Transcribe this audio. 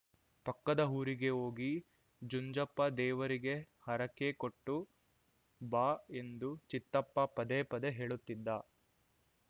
ಪಕ್ಕದ ಊರಿಗೆ ಹೋಗಿ ಜುಂಜಪ್ಪ ದೇವರಿಗೆ ಹರಕೆ ಕೊಟ್ಟು ಬಾ ಎಂದು ಚಿತ್ತಪ್ಪ ಪದೇ ಪದೇ ಹೇಳುತ್ತಿದ್ದ